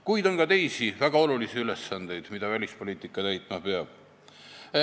Kuid on ka teisi väga olulisi ülesandeid, mida välispoliitika täitma peab.